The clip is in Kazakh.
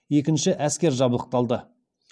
екінші әскер жабдықталды